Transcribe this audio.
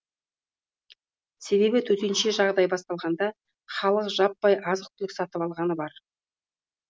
себебі төтенше жағдай басталғанда халық жаппай азық түлік сатып алғаны бар